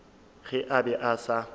ge a be a sa